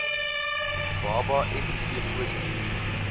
baba miv positief